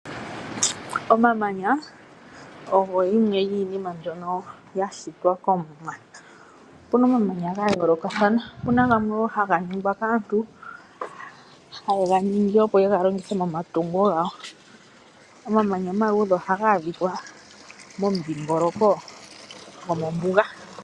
Omamanya ogo yimwe yomiinima mbyokno yaya komuwa. Opu na omamanyaga yoolokathana, opu na gamwe wo haga ningwa kaantu, haye ga ningi opo ye ga longithe momatungo gawo. Omamanya omaluudhe oha ga adhikwa momudhiingoloko gwomombuga.